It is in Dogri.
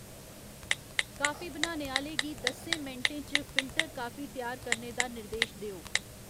कॉफी बनाने आह्ले गी दस्सें मिंटें च फिल्टर कॉफी त्यार करने दा निर्देश देओ